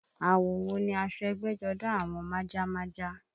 Àwọ̀ wo ni aṣọ ẹgbẹ́jọdá àwọn májámájá?